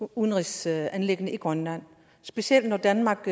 udenrigsanliggender i grønland specielt når danmark